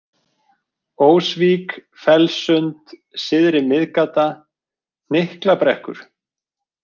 Ósvík, Fellssund, Syðri-Miðgata, Hnykklabrekkur